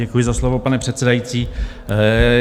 Děkuji za slovo, pane předsedající.